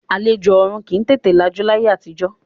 Àlejò ọ̀ọ̀run kì í tètè lajú láyé àtijọ́